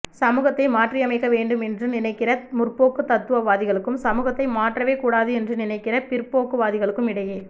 சமூகத்தை மாற்றியமைக்க வேண்டும் என்று நினைக்கிற முற்போக்கு தத்துவவாதிகளுக்கும் சமூகத்தை மாற்றவே கூடாது என்று நினைக்கிற பிற்போக்குவாதிகளுக்கும் இடையே